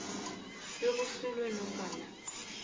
b kusulwe nofana